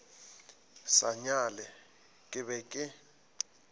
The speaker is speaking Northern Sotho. sa nyale ke be ke